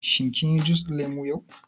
Shin kin yi jus ɗin lemu yau?